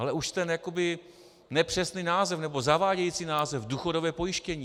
Ale už ten jakoby nepřesný název, nebo zavádějící název důchodové pojištění.